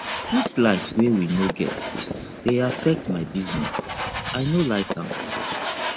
dis light wey we no get dey affect my business i no like am